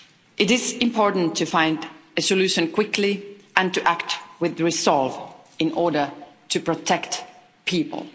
It is important to find a solution quickly and to act with resolve in order to protect people.